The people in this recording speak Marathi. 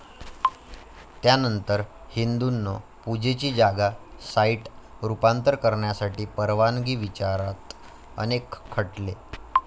त्यानंतर हिंदूंनो, पूजेची जागा साईट रूपांतर करण्यासाठी परवानगी विचारात अनेक खटले.